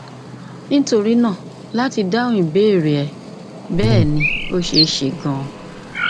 nítorí náà láti dáhùn ìbéèrè rẹ bẹẹ ni ó ṣeé ṣe ganan